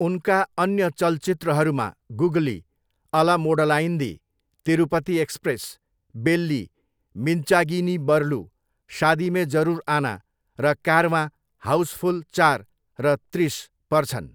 उनका अन्य चलचित्रहरूमा गुगली, अला मोडलाइन्दी, तिरुपति एक्सप्रेस, बेल्ली, मिन्चागी नी बरलु, शादी में जरुर आना, र कारवाँ, हाउसफुल चार र त्रिस पर्छन्।